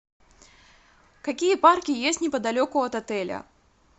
какие парки есть неподалеку от отеля